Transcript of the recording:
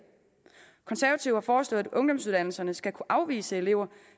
konservative har foreslået at ungdomsuddannelserne skal kunne afvise elever